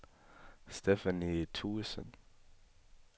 Stephanie Thuesen